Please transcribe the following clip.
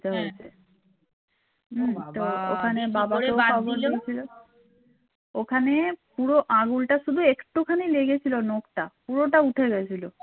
পুরো আঙুলটা শুধু একটুখানি লেগেছিল নকটা পুরোটা উঠে গিয়েছিল